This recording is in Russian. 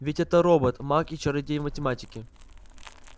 ведь это робот маг и чародей в математике